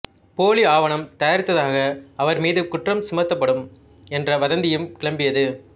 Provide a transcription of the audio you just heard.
போலி ஆவணம் தயாரித்ததாக அவர்மீது குற்றம் சுமத்தப்படும் என்ற வதந்தியும் கிளம்பியது